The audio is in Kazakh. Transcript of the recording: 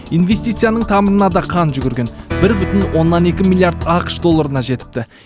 инвестицияның тамырына да қан жүгірген бір бүтін оннан екі миллиард ақш долларына жетіпті